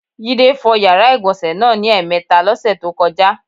Jídé fo̩ yàrá ìgbò̩nsè̩ náà ní è̩mè̩e̩ta ló̩sè̩ tó ko̩já.